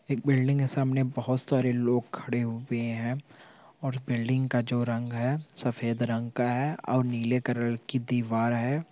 एक बिल्डिंग के सामने बहुत सारे लोग खड़े हुए हैं और बिल्डिंग का जो रंग हैं सफ़ेद रंग का हैं और नीले कलर की दीवाल हैं।